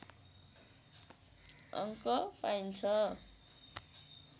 अङ्क पाइन्छ